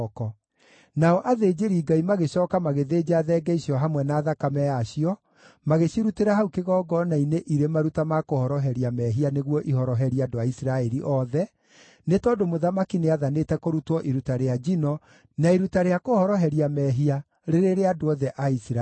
Nao athĩnjĩri-Ngai magĩcooka magĩthĩnja thenge icio hamwe na thakame yacio, magĩcirutĩra hau kĩgongona-inĩ irĩ maruta ma kũhoroheria mehia nĩguo ihoroherie andũ a Isiraeli othe, nĩ tondũ mũthamaki nĩathanĩte kũrutwo iruta rĩa njino na iruta rĩa kũhoroheria mehia rĩrĩ rĩa andũ othe a Isiraeli.